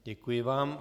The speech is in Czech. Děkuji vám.